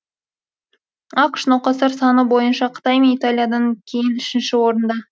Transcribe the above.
ақш науқастар саны бойынша қытай мен италиядан кейін үшінші орында